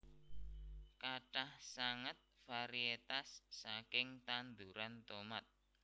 Kathah sanget varietas saking tanduran tomat